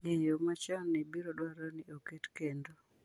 Ng’eyo machon biro dwarore ni oket kendo.